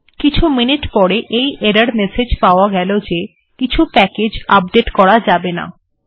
কিছু মিনিট পরে আমি এই এরর মেসেজ্ পাওয়া গেল যে কিছু প্যাকেজ্ আপডেট্ করা যাবে না